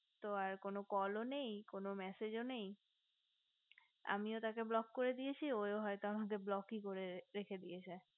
তো আর কোনো call ও নেই কোনো massage ও নেই আমিও তাকে block করে দিয়েছি ও হয়তো আমাকে block ই করে দিয়েছি রেখেছে